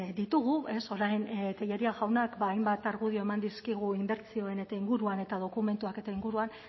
ditugu orain telleria jaunak ba hainbat argudio eman dizkigu inbertsioen eta inguruan eta dokumentuak eta inguruan